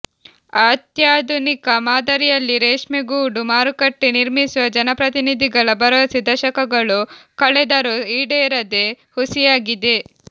ಅತ್ಯಾಧುನಿಕ ಮಾದರಿಯಲ್ಲಿ ರೇಷ್ಮೆಗೂಡು ಮಾರುಕಟ್ಟೆ ನಿರ್ಮಿಸುವ ಜನಪ್ರತಿನಿಧಿಗಳ ಭರವಸೆ ದಶಕಗಳು ಕಳೆದರೂ ಈಡೇರದೆ ಹುಸಿಯಾಗಿದೆ